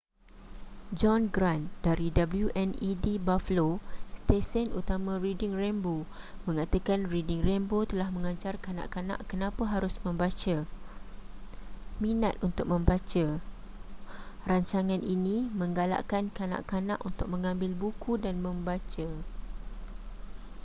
john grant dari wned buffalo stesen utama reading rainbow mengatakan reading rainbow telah mengajar kanak-kanak kenapa harus membaca,... minat untuk membaca - [rancangan ini] menggalakkan kanak-kanak untuk mengambil buku dan membaca.